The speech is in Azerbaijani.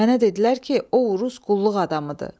Mənə dedilər ki, o Rus qulluq adamıdır.